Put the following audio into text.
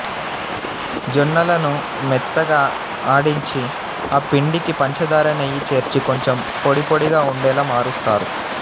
జొన్నలను మెత్తగా ఆడించి ఆపిండికి పంచదార నెయ్యి చేర్చి కొంచెం పొడిపొడిగా ఉండేలా మారుస్తారు